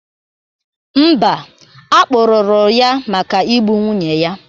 Mba, a kpụrụru ya maka Ị gbu nwunye ya